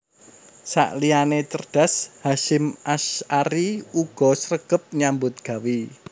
Sakliyané cerdas Hasyim Asy ari uga sregep nyambut gawé